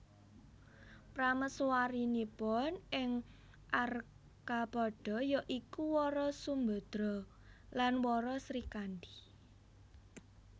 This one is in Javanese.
Prameswarinipun ing Arcapada ya iku Wara Sumbadra dan Wara Srikandi